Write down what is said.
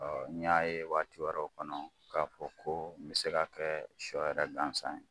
n y'a ye waatiwɛrɛw kɔnɔ k'a fɔ ko, n bɛ se ka kɛ sɔ yɛrɛ gansan ye.